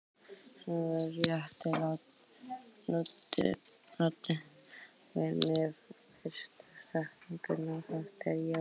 Smjörþefurinn rétt loddi við mig fyrstu sekúndurnar eftir að ég vaknaði.